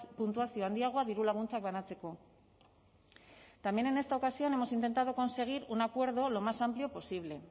puntuazio handiagoa dirulaguntzak banatzeko también en esta ocasión hemos intentado conseguir un acuerdo lo más amplio posible